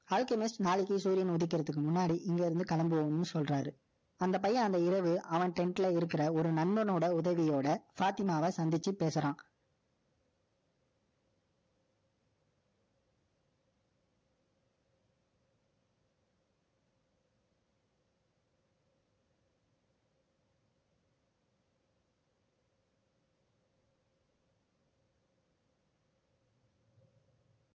Alchemist நாளைக்கு, சூரியன் உதிக்கிறதுக்கு முன்னாடி, இங்கிருந்து, கிளம்புவோம்ன்னு, சொல்றாரு. அந்த பையன், அந்த இரவு, அவன் tent ல இருக்கிற, ஒரு நண்பனோட உதவியோட, பாத்திமாவை, சந்திச்சு பேசுறான்